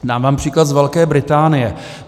Dám vám příklad z Velké Británie.